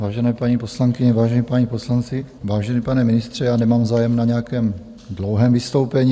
Vážené paní poslankyně, vážení páni poslanci, vážený pane ministře, já nemám zájem na nějakém dlouhém vystoupení.